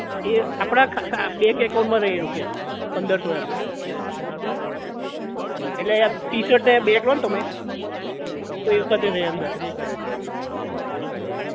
એ આપણા ખા bank account માં રહે પંદર સો રૂપિયા એટલે આ ટીશર્ટ અને બેગ લોને તમે તો એ વખતે રહે અંદર